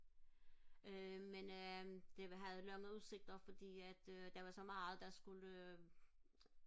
øh men øh det havde lange udsigter fordi at øh der var meget der skulle